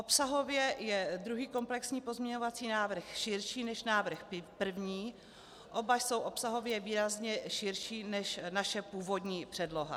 Obsahově je druhý komplexní pozměňovací návrh širší než návrh první, oba jsou obsahově výrazně širší než naše původní předloha.